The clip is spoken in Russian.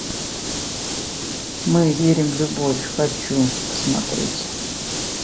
мы верим в любовь хочу посмотреть